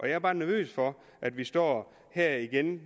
jeg er bare nervøs for at vi står her igen